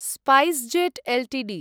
SpiceJet Ltd